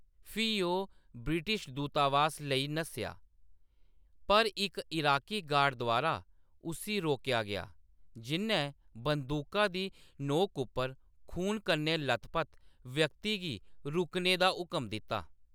फ्ही ओह्‌‌ ब्रिटिश दूतावास लेई नस्सेआ, पर इक इराकी गार्ड द्वारा उस्सी रोकेआ गेआ, जिʼन्नै बंदूका दी नोक उप्पर खून कन्नै लथपथ व्यक्ति गी रुकने दा हुकम दित्ता।